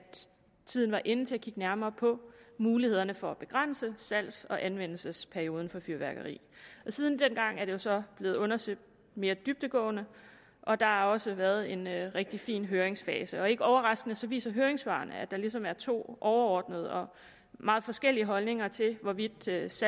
tiden var inde til at kigge nærmere på mulighederne for at begrænse salgs og anvendelsesperioden for fyrværkeri siden dengang er det så blevet undersøgt mere dybdegående og der har også været en rigtig fin høringsfase ikke overraskende viser høringssvarene at der ligesom er to overordnede og meget forskellige holdninger til hvorvidt salgs